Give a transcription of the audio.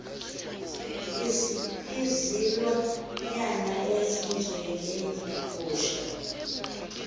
izilwa nyana ezinjengeegusha